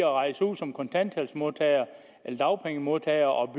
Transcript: rejse ud som kontanthjælpsmodtager eller dagpengemodtager og